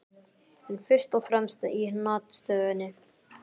En fyrst og fremst í hnattstöðunni.